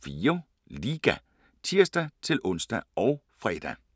18:04: Liga (tir-ons og fre)